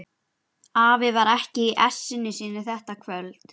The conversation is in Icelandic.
Afi var ekki í essinu sínu þetta kvöld.